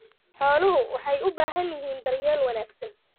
Xooluhu waxay u baahan yihiin daryeel wanaagsan.